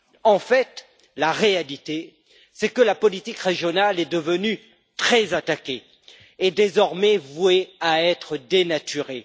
En fait, la réalité, c'est que la politique régionale est devenue très attaquée et est désormais vouée à être dénaturée.